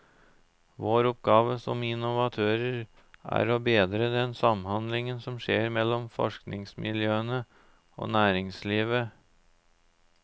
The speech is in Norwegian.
Vår oppgave som innovatører er å bedre den samhandlingen som skjer mellom forskningsmiljøene og næringslivet.